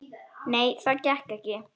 Nei, það gekk ekki.